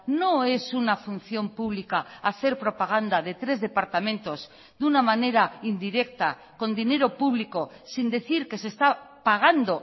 no es una función pública hacer propaganda de tres departamentos de una manera indirecta con dinero público sin decir que se está pagando